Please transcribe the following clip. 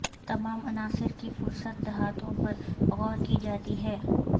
تمام عناصر کی فہرست دھاتوں پر غور کی جاتی ہے